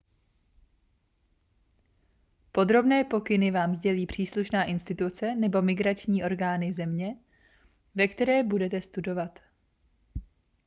podrobné pokyny vám sdělí příslušná instituce nebo imigrační orgány země ve které budete studovat